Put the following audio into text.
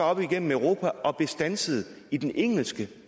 op igennem europa og blev standset i den engelske